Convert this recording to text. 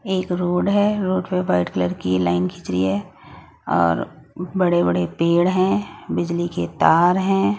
एक रोड है रोड पे वाइट कलर की लाइन खींच रही है और बड़े बड़े पेड़ हैं बिजली के तार हैं।